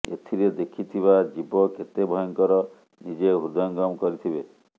ଏଥିରେ ଦେଖିଥିବା ଜୀବ କେତେ ଭୟଙ୍କର ନିଜେ ହୃଦୟଙ୍ଗମ କରିଥିବେ